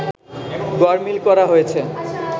গড়মিল করা হয়েছে